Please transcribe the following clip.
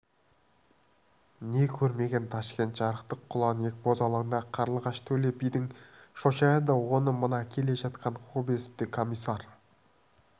не көрмеген ташкент жарықтық құланиек бозалаңда қарлығаш-төле бидің шошаяды оны мына келе жатқан кобозев те комиссар